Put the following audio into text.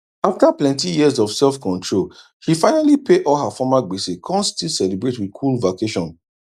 afta plenti years of self control she finally pay all her former gbese kon still celebrate wit cool vacation